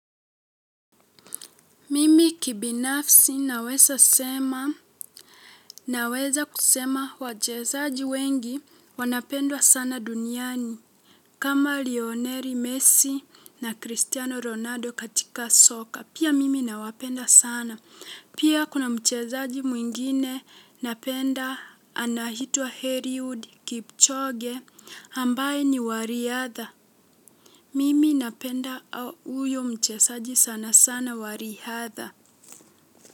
Mimi kibinafsi naweza sema naweza kusema wachezaji wengi wanapendwa sana duniani kama Lioneri Messi na Cristiano Ronaldo katika soka. Pia mimi nawapenda sana. Pia kuna mchezaji mwingine napenda anaitwa Heriwood Kipchoge ambaye ni wa riatha. Mimi napenda uyo mchezaji sana sana wa riatha.